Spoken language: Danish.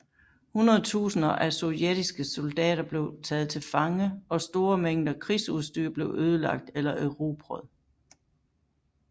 Hundredtusinder af sovjetiske soldater blev taget til fange og store mængder krigsudstyr blev ødelagt eller erobret